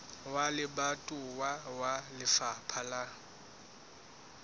wa lebatowa wa lefapha la